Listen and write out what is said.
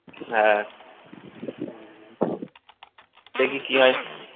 হ্যাঁ দেখি কি হয়